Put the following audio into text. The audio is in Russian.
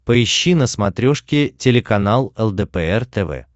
поищи на смотрешке телеканал лдпр тв